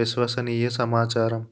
విశ్వసనీయ సమాచారం